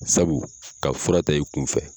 Sabu ka fura ta i kun fɛ